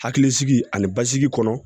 Hakilisigi ani basigi kɔnɔ